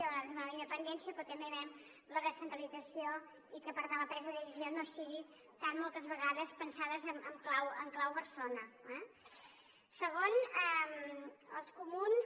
nosaltres demanem la independència però també demanem la descentralització i que per tant la presa de decisions no sigui tan moltes vegades pensada en clau barcelona eh segon els comuns